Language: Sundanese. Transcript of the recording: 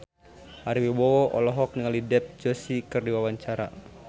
Ari Wibowo olohok ningali Dev Joshi keur diwawancara